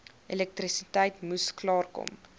elektrisiteit moes klaarkom